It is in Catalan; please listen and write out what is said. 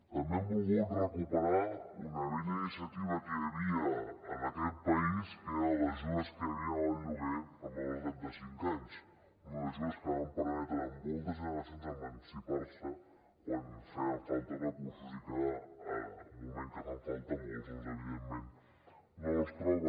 també hem volgut recuperar una vella iniciativa que hi havia en aquest país que eren les ajudes que hi havien al lloguer per a menors de trenta cinc anys unes ajudes que van permetre a moltes generacions emancipar se quan feien falta recursos i que en un moment que en fan falta molts doncs evidentment no els troben